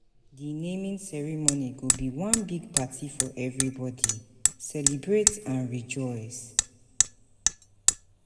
Di naming ceremony go be one big party for everybody, celebrate and rejoice.